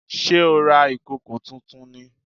Sé o ra ìkòkò tuntun ni?